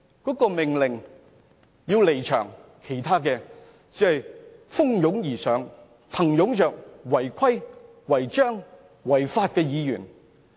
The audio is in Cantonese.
當主席命令他離開會議廳，其他議員便蜂擁而上，簇擁着違規、違章、違法的議員。